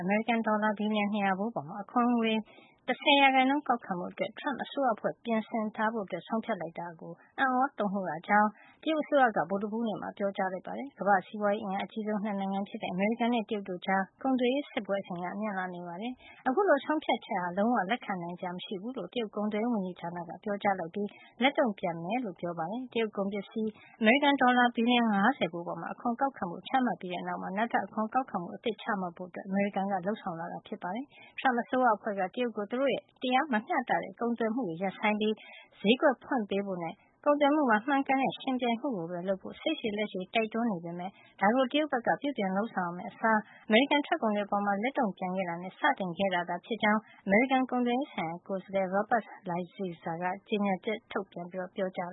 အမေရိကန်ဒေါ်လာ ဘီလျံ ၂၀၀ ဖိုးအပေါ် အခွန် ၁၀ % ကောက်ခံဖို့ အတွက် Trump အစိုးရအဖွဲ့က ပြင်ထားဖို့ ဆုံးဖြတ်လိုက်တာအတွက် အံ့သြတုန်လှုပ်ရကြောင်း တရုတ်အစိုးရက ဗုဒ္ဓဟူးနေ့မှာ ပြောကြားလိုက်ပါတယ်။ ကမ္ဘာ့စီးပွါးရေး အင်အားအကြီးဆုံး၂ နိုင်ငံဖြစ်တဲ့ အမေရိကန်နဲ့ တရုတ်တို့ကြား ကုန်သွယ်ရေး စစ်ပွဲအရှိန်က မြင့်လာနေတာပါ။ အခုလို ဆုံးဖြတ်ချက်ဟာ လုံးဝ လက်ခံနိုင်စရာ မရှိဘူးလို့ တရုတ် ကုန်သွယ်ရေးဝန်ကြီးဌာနက ပြောကြားပြီး လက်တုန့်ပြန်ဖို့ လုပ်မယ်လို့ ပြောပါတယ်။ တရုတ်ကုန်ပစ္စည်း အမေရိကန် ဒေါ်လာ ဘီလျံ ၅၀ ဖိုးအပေါ် အခွန်ကောက်ခံဖို့ ချမှတ်ခဲ့ပြီးတဲ့နောက်မှာ နောက်ထပ် အခွန်ကောက်ခံမှု အသစ်ချမှတ်ဖို့ အမေရိကန်က လုပ်ဆောင်လာတာ ဖြစ်ပါတယ်။ Trump အစိုးရအဖွဲ့က တရုတ်ကို သူတို့ရဲံ တရားမမျှတတဲ့ ကုန်သွယ်မှုတွေ ရပ်ဆိုင်းပြီး သူတို့ရဲ့ ဈေးကွက်ကို ဖွင့်ပေးဖို့နဲ့ ကုန်သွယ်မှုမှာ မှန်ကန်တဲ့ ယှဉ်ပြိုင်မှုကိုပဲ လုပ်ဖို့ စိတ်ရှည်လက်ရှည် တိုက်တွန်း နေခဲ့ပေမယ့် ဒါကို တရုတ်ဘက်က ပြုပြင်လုပ်ဆောင်ရမယ့်အစား အမေရိကန် ထွက်ကုန်တွေ အပေါ် လက်တုန့်ပြန်တာနဲ့ စတင်ခဲ့တာသာ ဖြစ်ကြောင်း အမေရိကန် ကုန်သွယ်ရေးဆိုင်ရာ ကိုယ်စားလှယ် Robert Lighthizer ကကြေညာချက် ထုတ်ပြန် ပြောကြား